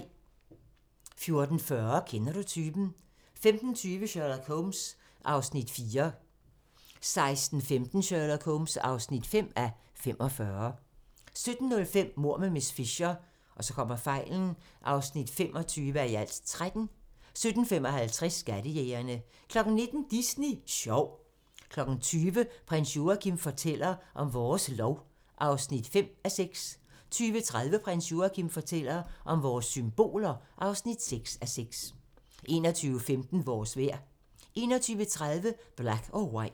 14:40: Kender du typen? 15:20: Sherlock Holmes (4:45) 16:15: Sherlock Holmes (5:45) 17:05: Mord med miss Fisher (25:13) 17:55: Skattejægerne 19:00: Disney Sjov 20:00: Prins Joachim fortæller om vores lov (5:6) 20:30: Prins Joachim fortæller om vores symboler (6:6) 21:15: Vores vejr 21:30: Black or White